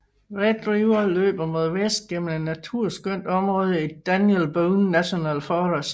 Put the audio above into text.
Red River løber mod vest gennem et naturskønt område i Daniel Boone National Forest